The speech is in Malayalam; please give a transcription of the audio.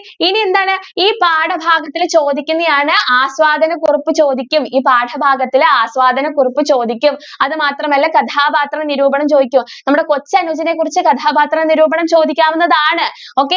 ഇനി എന്താണ് ഈ പാഠഭാഗത്തിൽ ചോദിക്കുന്നയാണ് ആസ്വാദന കുറിപ്പ് ചോദിക്കും ഈ പാഠഭാഗത്തിൽ ആസ്വാദന കുറിപ്പ് ചോദിക്കും. അത് മാത്രം അല്ല കഥാപാത്ര നിരൂപണം ചോദിക്കും നമ്മുടെ കൊച്ചനുജനെ കുറിച്ച് കഥാപാത്ര നിരൂപണം ചോദിക്കാവുന്നതാണ് okay